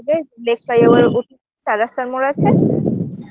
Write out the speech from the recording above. আরে Lake fly over -এর ওপর চার রাস্তার মোড় আছে